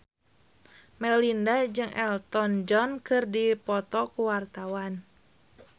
Melinda jeung Elton John keur dipoto ku wartawan